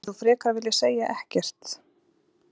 Myndir þú frekar vilja segja ekkert?